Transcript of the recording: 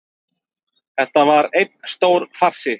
Þetta var einn stór farsi